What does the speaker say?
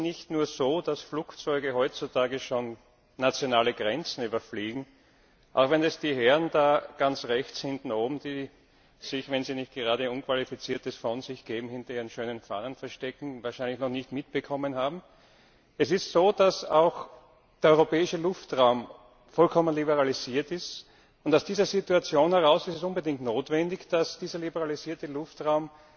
Es ist nicht nur so, dass Flugzeuge heutzutage schon nationale Grenzen überfliegen. Auch wenn es die Herren da ganz rechts oben, die sich, wenn sie nicht gerade Unqualifiziertes von sich geben, hinter ihren schönen Fahnen verstecken, wahrscheinlich noch nicht mitbekommen haben Es ist so, dass auch der europäische Luftraum vollkommen liberalisiert ist, und aus dieser Situation heraus ist es unbedingt notwendig, dass dieser liberalisierte Luftraum